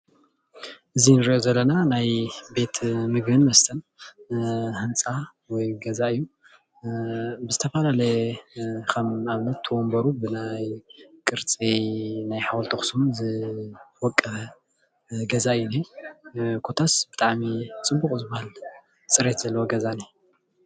እዚ እንሪኦ ዘለና ናይ ቤት ምግብን መስተን ህንፃ ወይ ገዛ እዩ፡፡ ብዝተፈላለዩ ከም ንኣብነት ወንበሩ ብናይ ቅርፂ ሓወልቲ ኣክሱም ዝወቀበ ገዛ እዩ እኒሄ፡፡ ኮታስ ብጣዕሚ ፅቡቅ ዝብሃል ፅሬት ዘለዎ ገዛ እዩ፡፡